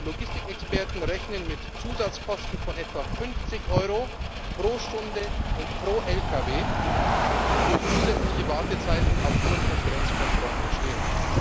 Logistikexperten rechnen mit Zusatzkosten von etwa 50 Euro pro Stunde und pro Lkw, die durch zusätzliche Wartezeiten aufgrund von Grenzkontrollen entstehen.